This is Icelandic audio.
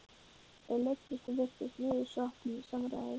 Þau leiddust og virtust niðursokkin í samræður.